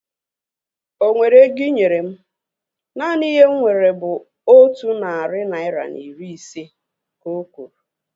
Onwere ego inyere mụ? Naanị ihe m nwere bụ otu narị naira na iri ise, ka okwuru